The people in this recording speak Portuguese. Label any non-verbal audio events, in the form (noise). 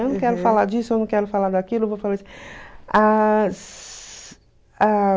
Eu não quero falar disso, eu não quero falar daquilo, eu vou falar (unintelligible)